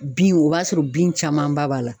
Bin o b'a sɔrɔ bin camanba b'a la.